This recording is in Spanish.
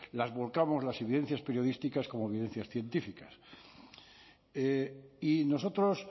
las volcamos las evidencias periodísticas como evidencias científicas y nosotros